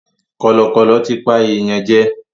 Kọ̀lọ̀kọ̀lọ̀ tí pa èèyàn jẹ.